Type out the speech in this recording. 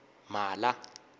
mhala